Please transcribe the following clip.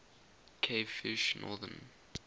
cavefish northern